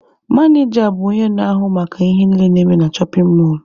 Manịja bụ onye na-ahụ maka ihe niile na-eme na shọpin mọlụ.